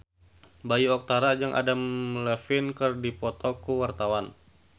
Bayu Octara jeung Adam Levine keur dipoto ku wartawan